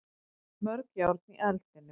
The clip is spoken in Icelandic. Mörg járn í eldinum